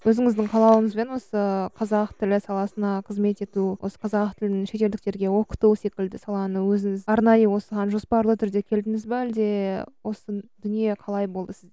өзіңіздің қалауыңызбен осы қазақ тілі саласына қызмет ету осы қазақ тілін шетелдіктерге оқыту секілді саланы өзіңіз арнайы осыған жоспарлы түрде келдіңіз бе әлде осы дүние қалай болды